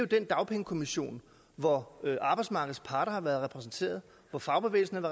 den dagpengekommission hvor arbejdsmarkedets parter har været repræsenteret hvor fagbevægelsen